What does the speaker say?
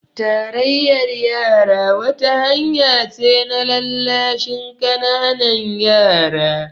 Tarayyar yara wata hanya ce na lallashin ƙananan yara